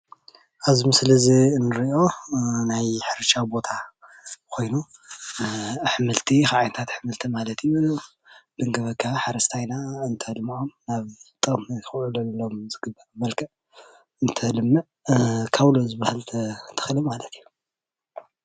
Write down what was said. ኣብዚ ምስሊ እንሪኦ ናይ ሕርሻ ቦታ ኮይኑ ኣሕምልቲ ካብ ዓይነታት ኣሕምልቲ ማለት ተንከባኪቡ ሓረስታይና እንተልምዖ ናብ ጥቅሙ ከውዕሎም ካብ እንተልምዕ ካውሎ ዝብሃል ተክሊ ማለት እዩ፡፡